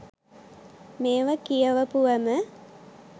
මේව කියවපුවම